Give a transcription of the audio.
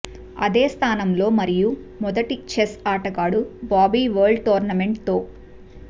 అదే స్థానంలో మరియు మొదటి చెస్ ఆటగాడు బాబీ వరల్డ్ టోర్నమెంట్ తో